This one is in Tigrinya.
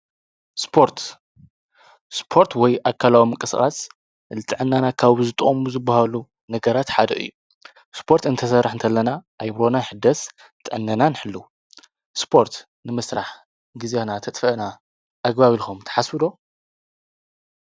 ስፖርት-ስፖርት ወይ ኣካላዊ ምንቅስቓስ ልጥዕናና ጠቓሚ ካብ ዝጠቕሙ ዝበሃሉ ነገራት ሓደ እዩ፡፡ ስፖርትእንትንሰርሕ እንተለና ኣእምሮናን ይሕደስ፣ ጥዕናና ንሕሉ፡፡ ስፖርት ንምስራሕ ግዜና እንተጥፋእና ኣግባብ ኢልኩም ትሓስቡ ዶ?